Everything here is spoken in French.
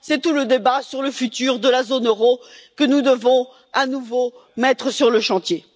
C'est tout le débat sur l'avenir de la zone euro, que nous devons à nouveau mettre sur le chantier.